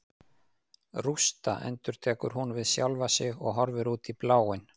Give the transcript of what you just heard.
Rústa, endurtekur hún við sjálfa sig og horfir út í bláinn.